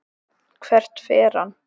Hvert fer hann?